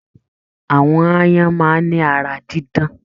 Àwọn aáyán máà ni ara dídán.